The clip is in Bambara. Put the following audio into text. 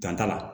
Dan t'a la